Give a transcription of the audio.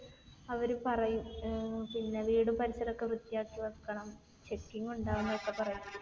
അവർ പറയും ഏർ പിന്നെ വീടും പരിസരവും ഒക്കെ വൃത്തിയാക്കി വെക്കണം. checking ഉണ്ടാവുമെന്നൊക്കെ പറയും.